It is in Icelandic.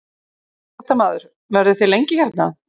Fréttamaður: Verðið þið lengi hérna?